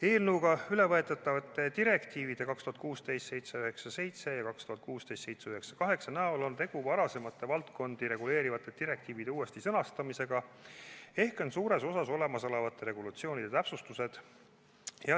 Eelnõuga ülevõetavad direktiivid 2016/797 ja 2016/798 kujutavad endast varasemate valdkonda reguleerivate direktiivide uuesti sõnastamist ehk on suures osas olemasolevate regulatsioonide täpsustused.